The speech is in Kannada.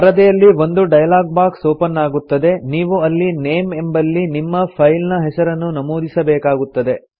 ಪರದೆಯಲ್ಲಿ ಒಂದು ಡೈಲಾಗ್ ಬಾಕ್ಸ್ ಒಪನ್ ಆಗುತ್ತದೆ ನೀವು ಅಲ್ಲಿ ನೇಮ್ ಎಂಬಲ್ಲಿ ನಿಮ್ಮ ಫೈಲ್ ನ ಹೆಸರನ್ನು ನಮೂದಿಬೇಕಾಗುತ್ತದೆ